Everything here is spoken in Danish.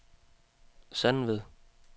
Sandved